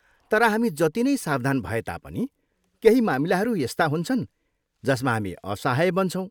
तर हामी जति नै सावधान भए तापनि, केही मामिलाहरू यस्ता हुन्छन् जसमा हामी असाहय बन्छौँ।